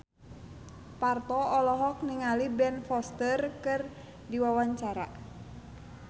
Parto olohok ningali Ben Foster keur diwawancara